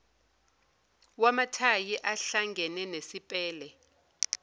wamathayi uhlangene nesipele